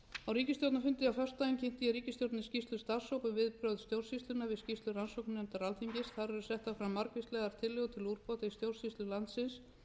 á ríkisstjórnarfundi á föstudaginn kynnti ég ríkisstjórninni skýrslu starfshóps um viðbrögð stjórnsýslunnar við skýrslu rannsóknarnefndar alþingis þar eru settar fram margvíslegar tillögur til úrbóta í stjórnsýslu landsins